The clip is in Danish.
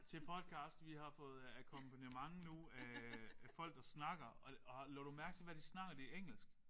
Til podcast. Vi har fået akkompagnement nu af af folk der snakker og og lod du mærke til hvad snakker de engelsk?